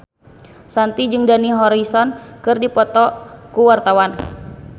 Shanti jeung Dani Harrison keur dipoto ku wartawan